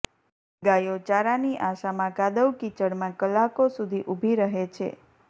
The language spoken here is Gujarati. ગાયો ચારાની આશામાં કાદવકિચડમાં કલાકો સુધી ઉભી રહે છે